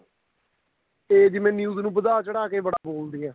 ਇਹ ਜਿਵੇਂ news ਨੂੰ ਵਧਾ ਚੜਾ ਕੇ ਬੜਾ ਬੋਲਦੀ ਏ